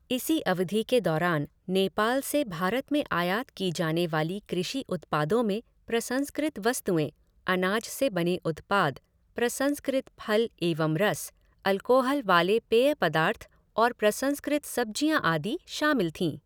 इसी अवधि के दौरान नेपाल से भारत में आयात की जाने वाली कृषि उत्पादों में प्रसंस्कृत वस्तुएं, अनाज से बने उत्पाद, प्रसंस्कृत फल एवं रस, अल्कोहल वाले पेय पदार्थ और प्रसंस्कृत सब्जियां आदि शामिल थीं।